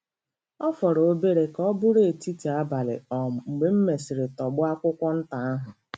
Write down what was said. Ọ fọrọ obere ka ọ bụrụ etiti abalị um mgbe m mesịrị tọgbọ akwụkwọ nta ahụ.